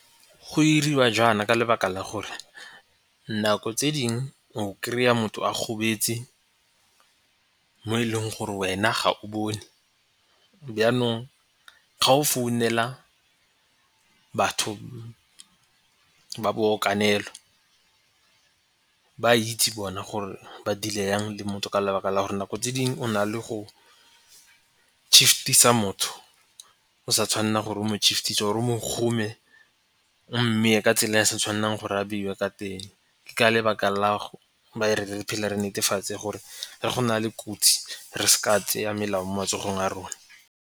Go iriwa jaana ka lebaka la gore nako tse dingwe o kry-a motho a gobetse mo e leng gore wena ga o bone. Byanong ga o founela batho ba boakanelo ba itse bona gore ba deal-e yang le motho ka lebaka la gore nako tse dingwe o na le go shift-isa motho o sa tshwanela gore o mo shift-ise or-e o mo kgome, o mmeye ka tsela e e se tshwanelang gore a beiwe ka teng. Ke ka lebaka la phela re netefatse gore re go na le kotsi re seka tseya melao mo matsogong a rona.